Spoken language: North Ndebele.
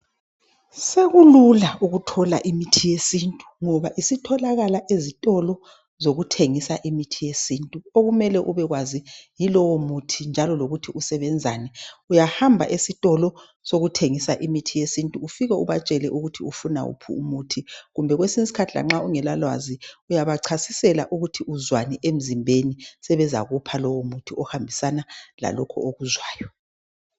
Sekulula ukuthola imithi yesintu ngoba isitholakala ezitolo zokuthengisa imithi yesintu okumele ubekwazi yilowo muthi njalo lokuthi usebenzani. Uyahamba esitolo sokuthengisa imithi yesintu ufike ubatshele ukuthi ufuna wuphi umuthi kumbe kwesinye isikhathi lanxa ungela lwazi uyabachasisela ukuthi uzwani emzimbeni, sebezakupha lowo muthi ohambisana lalokho okuzwayo.